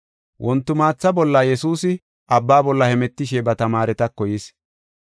Wontimaatha bolla Yesuusi abba bolla hemetishe ba tamaaretako yis.